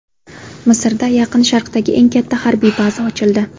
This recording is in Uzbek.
Misrda Yaqin Sharqdagi eng katta harbiy baza ochildi.